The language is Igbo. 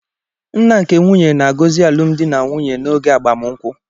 Nna nke nwunye na-agọzi alụmdi na nwunye n'oge agbamụnkwụ.